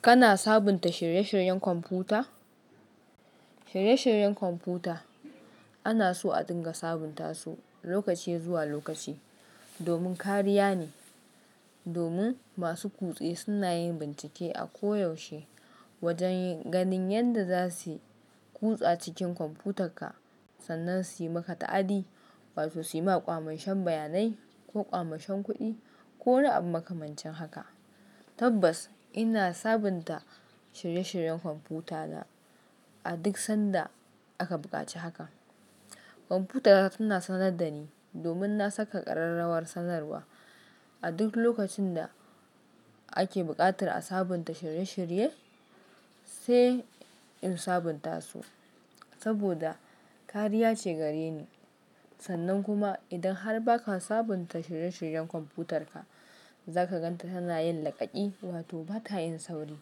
Kana sabunta shirye-shiryen kwamfuta? Shirye-shiryen kwamfuta ana so a dinga sabunta su lokaci zuwa lokaci domin kariya ne, domin masu kutse suna yin bincike a koyaushe wajen ganin yadda za su kutsa cikin kwamfutarka sannan su yi maka ta'addi wato su yi maka ƙwamashen sbayanai ko ƙwamashen kuɗi ko wani abu makamancin haka. Tabbas ina sabunta shirye-shiryen kwamfutana a duk sanda aka buƙaci haka. Kwamfutata tana sanar da ni domin na saka ƙararrawar sanarwa. A duk lokacin da ake buƙatar a sabunta shirye-shirye, sai in sabunta su saboda kariya ce gare ni. Sannan kuma idan har ba ka sabunta shirye-shiryen kwamfutarka, za ka gan ta tana yin laƙaƙi wato ba ta yin sauri.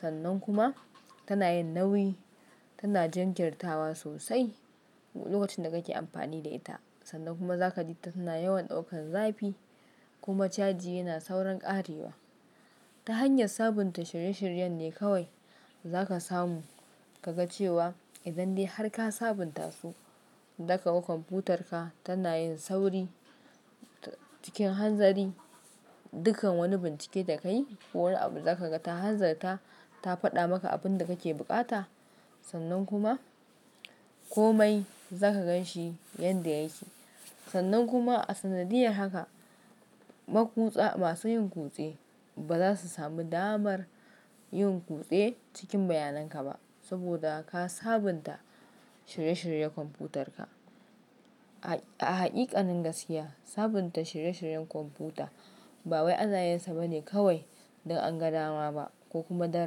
Sannan kuma tana yin nauyi, tana jinkirtawa sosai duk lokacin da kake amfani da ita. Sannan kuma za ka ji ta tana yawan ɗaukan zafi kuma caji yana saurin ƙarewa. Ta hanyar sabunta shirye-shiryen ne kawai za ka samu ka ga cewa idan dai har ka sabunta su, da ka ga kwamfutarka tana yin sauri cikin hanzari. Dukkan wani bincike da ka yi ko wani abu za ka ga ta hanzarta ta faɗa maka abin da kake buƙata. Sannan kuma komai za ka gan shi yadda yake. Sannan kuma a sanadiyar haka, maƙutsa masu yin kutse ba za su sami damar yin kutse cikin bayanan ka ba saboda ka sabunta shirye-shirye kwamfutarka. A haƙiƙanin gaskiya, sabunta shirye-shiryen kwamfuta ba wai anayinsa bane kawai don an ga dama ba ko kuma don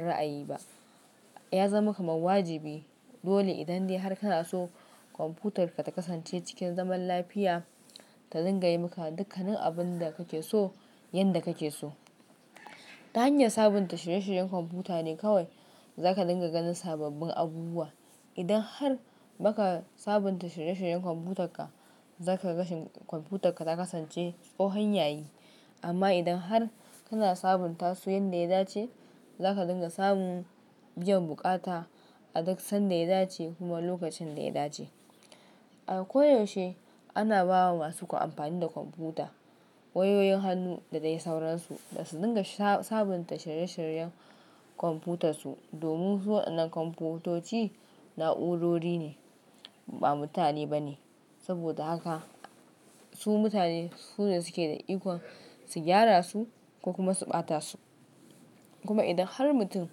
ra'ayi ba. Ya zama kamar wajibi dole idan dai har kana so kwamfutarka ta kasance cikin zaman lafiya ta dinga yi maka dukkanin abun da kake so yanda kake so. Ta hanyar sabunta shirye-shiryen kwamfuta ne kawai za ka dinga ganin sababbin abubuwa. Idan har baka sabunta shirye-shiryen kwamfutarka, za ka ga kwamfutarka ta kasance tsohon yayi. Amma idan har kana sabunta su yanda ya dace, za ka dinga samun biyan buƙata a duk sanda ya dace kuma lokacin da ya dace. A koyaushe ana ba wa masu amfani da kwamfuta wayoyin hannu da dai sauransu da su dinga sabunta shirye-shiryen kwamfutarsu domin waɗannan kwamfutoci na'urori ne ba mutane ba ne. Saboda haka su mutane su ne suke da ikon su gyara su ko kuma su ɓata su. Kuma idan har mutum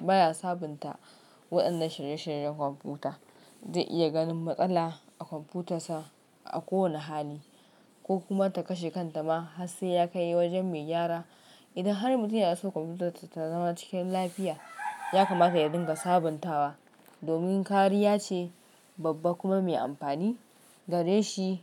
baya sabunta waɗannan shirye-shiryen kwamfuta, zai iya ganin matsala a kwamfutarsa a kowane hali ko kuma ta kashe kanta ma har sai ya kai wajen mai gyara. Idan har mutum yana so kwamfutarsa ta zama cikin lafiya, ya kamata ya dinga sabuntawa domin kariya ce babba kuma mai amfani gare shi.